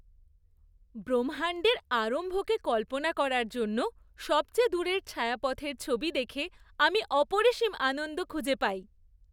ব্রহ্মাণ্ডের আরম্ভকে কল্পনা করার জন্য সবচেয়ে দূরের ছায়াপথের ছবি দেখে আমি অপরিসীম আনন্দ খুঁজে পাই।